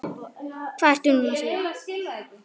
Hvað ertu nú að segja?